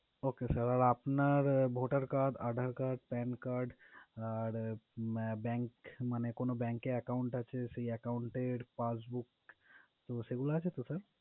Okay sir আর আপনার Voter card, Aadhar card, PAN card আর আহ bank মানে কোন bank account আছে সেই account's এর passbook তো সেগুলা আছে তো sir?